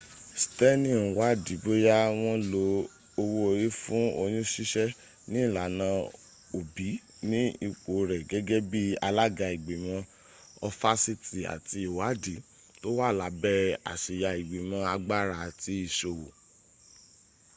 steni n wádi bóya wọn lo owó orí fún oyún ṣíṣẹ́ ní ìlànà òbí ní ipò rẹ̀ gẹ́gẹ́ bi alága igbimo ofasaiti àti ìwádi tó wà lábẹ̀ àsíya igbimo agbára àti iṣòwò